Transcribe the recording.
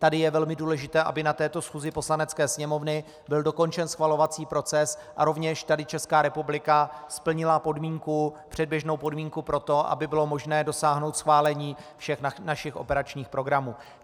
Tady je velmi důležité, aby na této schůzi Poslanecké sněmovny byl dokončen schvalovací proces a rovněž tady Česká republika splnila předběžnou podmínku pro to, aby bylo možné dosáhnout schválení všech našich operačních programů.